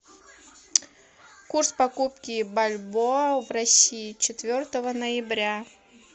курс покупки бальбоа в россии четвертого ноября